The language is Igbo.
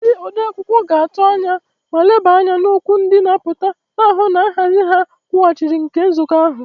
Ndị odeakwụkwọ ga-atụ anya ma leba anya n'okwu ndị na-apụta, na-ahụ na nhazi na nkwụghachi nke nzukọ ahụ.